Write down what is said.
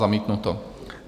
Zamítnuto.